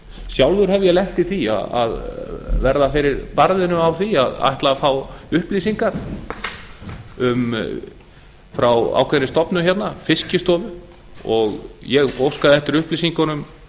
sjálfur hef ég lent í því að verða fyrir barðinu á því að ætla að fá upplýsingar frá ákveðinni stofnun hérna fiskistofu og ég óskaði eftir upplýsingunum